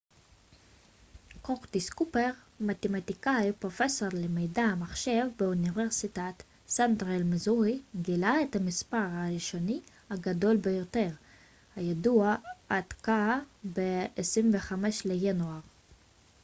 קורטיס קופר מתמטיקאי ופרופסור למדעי המחשב באוניברסיטת סנטרל מיזורי גילה את המספר הראשוני הגדול ביותר הידוע עד כה ב-25 לינואר